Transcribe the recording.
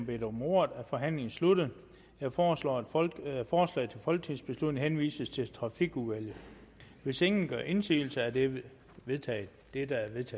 bedt om ordet er forhandlingen sluttet jeg foreslår at forslaget folketingsbeslutning henvises til trafikudvalget hvis ingen gør indsigelse er det vedtaget det